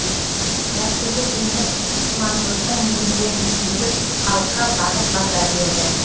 дәстүрлі діннің имандылықтың негіздерін түсіндіріп халыққа бағыт бағдар берді